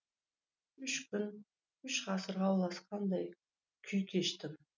үш күн үш ғасырға ұласқандай күй кештім